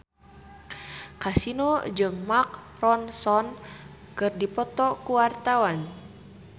Kasino jeung Mark Ronson keur dipoto ku wartawan